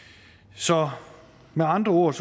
så med andre ord